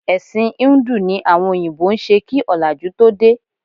Ẹ̀sìn híńdù ni àwọn òyìnbó ń ṣe kí ọ̀làjú tó dé